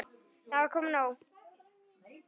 Það var komið nóg.